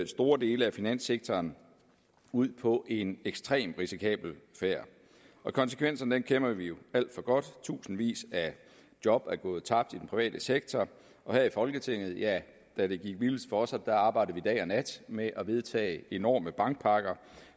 store dele af finanssektoren ud på en ekstremt risikabel færd konsekvenserne af den kender vi jo alt for godt tusindvis af job er gået tabt i den private sektor og her i folketinget ja da det gik vildest for sig arbejdede vi dag og nat med at vedtage enorme bankpakker